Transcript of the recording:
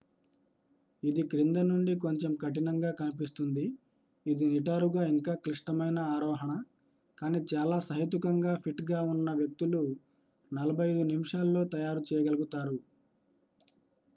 ఇది క్రింద నుండి కొంచెం కఠినంగా కనిపిస్తుంది ఇది నిటారుగా ఇంకా క్లిష్టమైన ఆరోహణ కానీ చాలా సహేతుకంగా ఫిట్ గా ఉన్న వ్యక్తులు 45 నిమిషాల్లో తయారు చేయగలుగుతారు